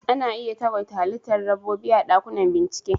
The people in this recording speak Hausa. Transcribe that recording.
Ana iya tagwaita halittar dabbobi a dakunan bincike